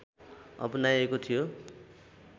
अपनाइएको थियो